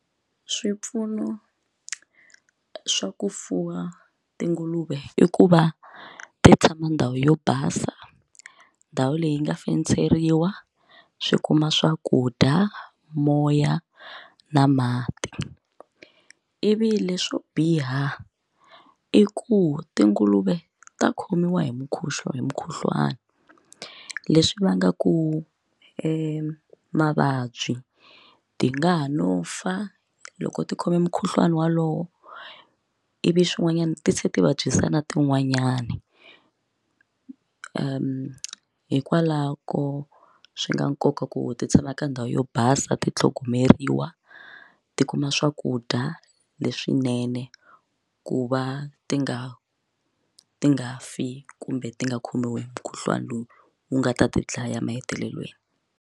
Swipfuno swa ku fuwa tinguluve i ku va ti tshama ndhawu yo basa ndhawu leyi nga fenseriwa swi kuma swakudya moya na mati ivi leswo biha i ku tinguluve ta khomiwa hi mukhuhlwani mukhuhlwani leswi vangaku mavabyi ti nga ha no fa loko ti khome mukhuhlwani wolowo ivi swin'wanyana ti se ti vabyisa na tin'wanyani hikwalako swi na nkoka ku ti tshama ka ndhawu yo basa ti tlhogomeriwa ti kuma swakudya leswinene ku va ti nga ti nga fi kumbe ti nga khomiwi hi mukhuhlwana lowu wu nga ta ti dlaya emahetelelweni.